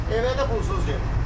Evə də pulsuz gedir.